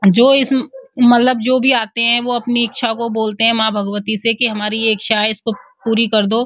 जो इस मतलब जो भी आते हैं वो अपनी इच्छा को बोलते हैं माँ भगवती से की हमारी ये इच्छा है इस को पूरी कर दो।